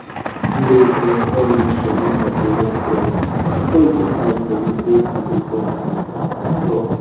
make sure say your soil moisture meter dey work well before you put eye for wetin e dey talk. talk.